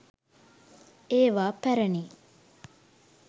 ඒවා පැරනි